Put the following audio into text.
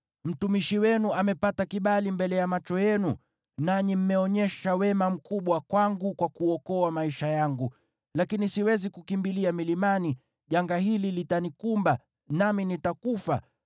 Mtumishi wenu amepata kibali mbele ya macho yenu, nanyi mmeonyesha wema mkubwa kwangu kwa kuokoa maisha yangu. Lakini siwezi kukimbilia milimani, janga hili litanikumba, nami nitakufa.